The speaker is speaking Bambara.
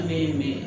Ne ye min ye